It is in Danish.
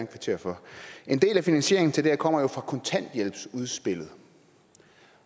kvittere for en del af finansieringen til det her kommer jo fra kontanthjælpsudspillet